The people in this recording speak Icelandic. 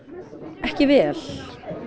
ekki vel